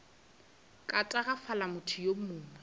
ka tagafala motho yo mongwe